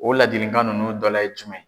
O laadilikan ninnu dɔla ye jumɛn ye?